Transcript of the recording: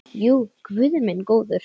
Jú, guð minn góður.